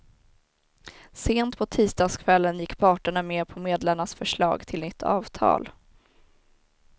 Sent på tisdagskvällen gick parterna med på medlarnas förslag till nytt avtal.